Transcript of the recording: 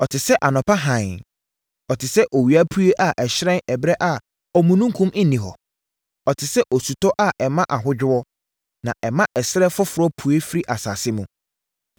ɔte sɛ anɔpa hann, ɔte sɛ owiapue a ɛhyerɛn ɛberɛ a omununkum nni hɔ; ɔte sɛ osutɔ a ɛma ahodwoɔ, na ɛma ɛserɛ foforɔ pue firi asase mu.’